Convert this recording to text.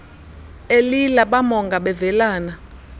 elila bamonga bevelana